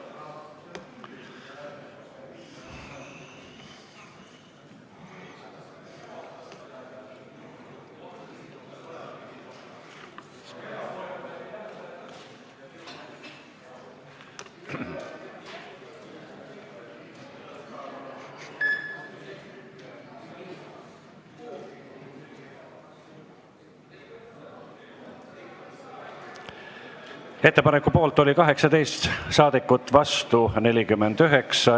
Hääletustulemused Ettepaneku poolt oli 18 ja vastu 49 saadikut.